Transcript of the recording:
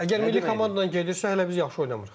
Əgər milli komanda ilə gedirsə, hələ biz yaxşı oynamırıq.